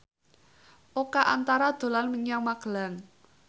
Oka Antara dolan menyang Magelang